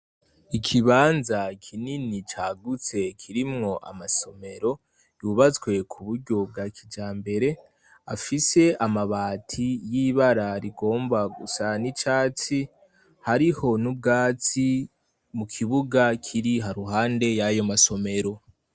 Ikibanza kinini cagutse kirimwo amasomero yubatswe ku buryo bwa kija mbere afise amabati y'ibararigomba gusa n'icatsi hariho n'ubwatsi mu kibuga kiri haruhande y'ayo masomero.